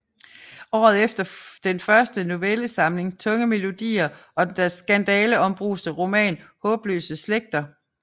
Året efter fulgte den første novellesamling Tunge melodier og den skandaleombruste roman Haabløse Slægter